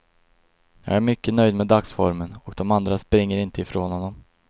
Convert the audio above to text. Jag är mycket nöjd med dagsformen och dom andra springer inte ifrån honom.